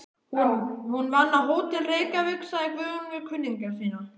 Hún vann á Hótel Reykjavík, sagði Guðjón við kunningja sína.